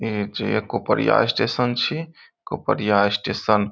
ए जे कोपरिया स्टेशन छी कोपरिया स्टेशन --